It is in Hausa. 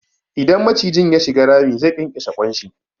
Idan maciji ya shiga rami, zai ƙyanƙyashe ƙwan shi.